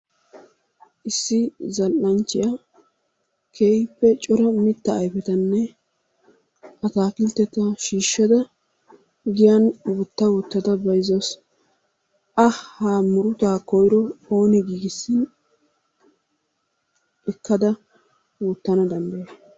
Issi zal'anchchiya keehippe cora mittaa ayifetanne ataakiltteta shiishshada giyan wotta wottada bayizzawusu. A ha murutaa koyiro ooni giigissin ekkada wottana danddayay?